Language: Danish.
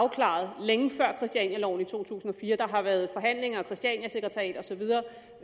afklaret længe før christianialoven i to tusind og fire der har været forhandlinger og christianiasekretariat og så videre